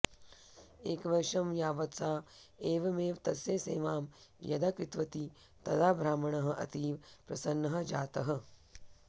एकवर्षं यावत् सा एवमेव तस्य सेवां यदा कृतवती तदा ब्राह्मणः अतीव प्रसन्नः जातः